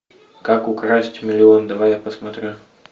как украсть миллион давай я посмотрю